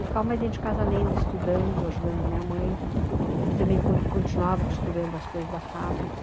E ficava mais dentro de casa lendo, estudando, ajudando a minha mãe, que também continuava costurando as coisas da fábrica.